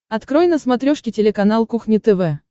открой на смотрешке телеканал кухня тв